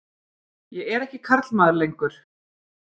Ég er ekki karlmaður lengur.